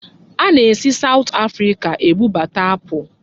Ana-esi Sawụt Afrịka ebubata apụl.